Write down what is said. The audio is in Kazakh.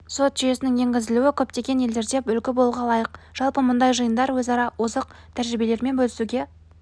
сот жүйесінің енгізілуі көптеген елдерге үлгі болуға лайық жалпы мұндай жиындар өзара озық тәжірибелерімен бөлісуге